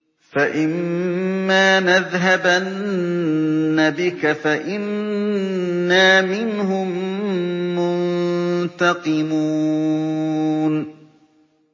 فَإِمَّا نَذْهَبَنَّ بِكَ فَإِنَّا مِنْهُم مُّنتَقِمُونَ